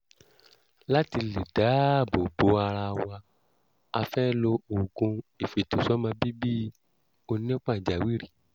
láti lè dáàbò bò ara wa a fẹ́ lo oògùn ìfètòsọ́mọbíbí onípàjáwìrì